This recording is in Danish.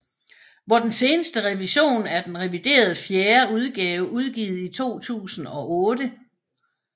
Hvor den seneste revision er den reviderede fjerde udgave udgivet i 2008